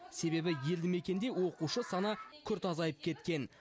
себебі елді мекенде оқушы саны күрт азайып кеткен